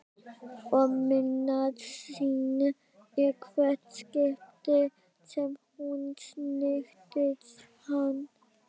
Og minnast sín í hvert skipti sem hún snerti hann.